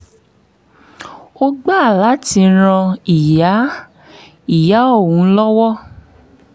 ó gbá láti ran ìyá ìyá òun lọ́wọ́